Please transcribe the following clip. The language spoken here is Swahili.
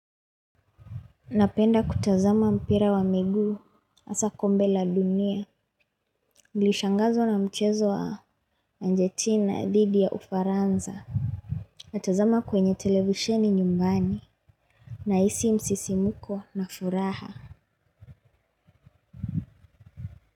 Napenda kutazama mpira wa miguu. Asa kombe la dunia. Nlishangazwa na mchezo wa anjetina dhidi ya ufaranza. Natazama kwenye televisheni nyumbani. Na isi msisi mko na furaha.